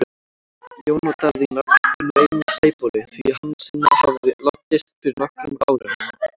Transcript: Jón og Daðína bjuggu nú ein í Sæbóli, því Hansína hafði látist fyrir nokkrum árum.